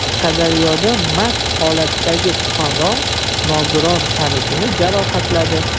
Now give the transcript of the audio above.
Qashqadaryoda mast holatdagi fuqaro nogiron tanishini jarohatladi.